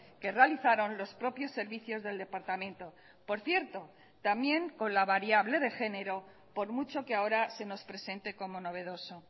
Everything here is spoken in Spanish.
que realizaron los propios servicios del departamento por cierto también con la variable de género por mucho que ahora se nos presente como novedoso